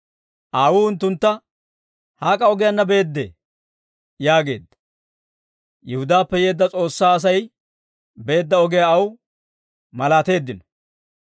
Aawuu unttuntta, «Hak'a ogiyaanna beedee?» yaageedda; Yihudaappe yeedda S'oossaa Asay beedda ogiyaa aw malaateeddino.